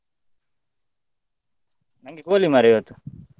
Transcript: ನಂಗೆ ಕೋಳಿ ಮಾರ್ರೆ ಇವತ್ತು.